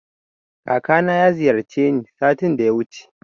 Kakana ya ziyarce ni satin da yawuce